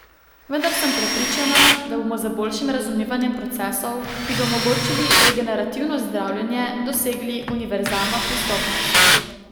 Vendar sem prepričana, da bomo z boljšim razumevanjem procesov, ki bi omogočili regenerativno zdravljenje, dosegli univerzalno pristopnost.